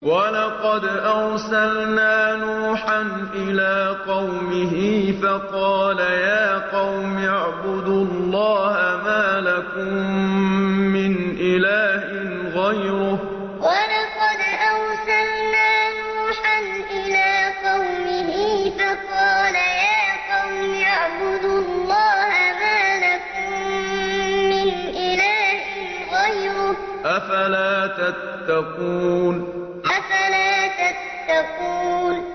وَلَقَدْ أَرْسَلْنَا نُوحًا إِلَىٰ قَوْمِهِ فَقَالَ يَا قَوْمِ اعْبُدُوا اللَّهَ مَا لَكُم مِّنْ إِلَٰهٍ غَيْرُهُ ۖ أَفَلَا تَتَّقُونَ وَلَقَدْ أَرْسَلْنَا نُوحًا إِلَىٰ قَوْمِهِ فَقَالَ يَا قَوْمِ اعْبُدُوا اللَّهَ مَا لَكُم مِّنْ إِلَٰهٍ غَيْرُهُ ۖ أَفَلَا تَتَّقُونَ